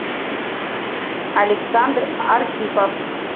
александр архипов